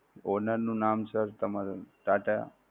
owner નું નામ sir તમારે ટાટા